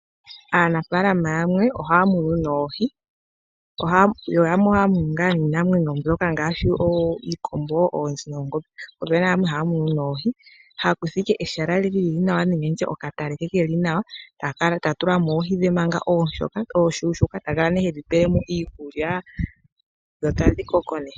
Aanafalama yamwe ohaya munu noohi yo yamwe ohaya munu ngaa niinamwenyo ngaashi oonzi , oongombe niikombo omanga yamwe ohaya munu noohi haya kutha ehala lili nawa nenge okatale ke keli nawa ta tulamo oohi dhe manga ooshona he tedhi pelemo iikulya opo dhikoke nawa.